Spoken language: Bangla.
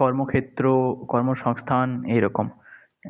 কর্মক্ষেত্র, কর্মসংস্থান এই রকম।